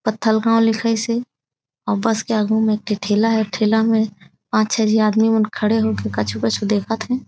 पत्थलगांव लिखाइस हे अउ बस के आगु में एक ठी ठेला हे ठेला में पांच-छे झी आदमी मन खड़े हो के कछु-कछु देखत थे।